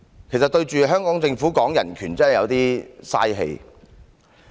其實跟香港政府說人權真的有點浪費力氣。